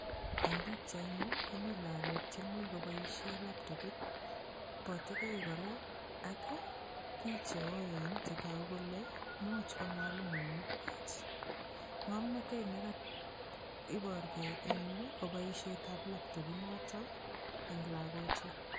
Eng' pikchaini komi lakok chemi koboishe laptopit botekei kora ak biich cheoen chetogu kole muuch ko mwalimuinik kwach ng'omnotet nekaiborgei eng' yu ko boishetab laptopinoto eng' lakochu